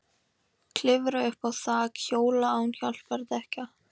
Klifra upp á þak- hjóla án hjálpardekkja